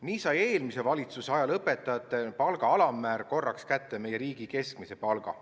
Nii sai eelmise valitsuse ajal õpetajate palga alammäär korraks kätte meie riigi keskmise palga.